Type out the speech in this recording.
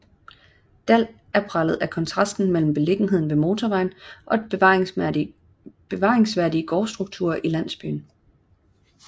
Dall er præget af kontrasten mellem beliggenheden ved motorvejen og bevaringsværdige gårdstrukturer i landsbyen